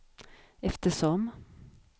eftersom